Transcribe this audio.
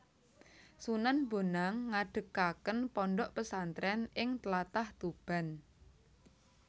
Sunan Bonang ngadegaken pondok pesantren ing tlatah Tuban